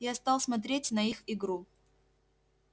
я стал смотреть на их игру